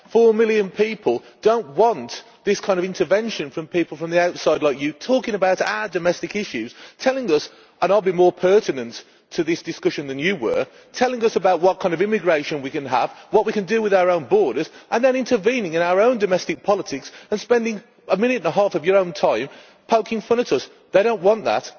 Four million people do not want this kind of intervention from people from the outside, like you, talking about our domestic issues, telling us and I will be more pertinent to this discussion than you were about what kind of immigration we can have, what we can do with our own borders, and then intervening in our own domestic politics and spending a minute and a half of your own time poking fun at us. They do not want that.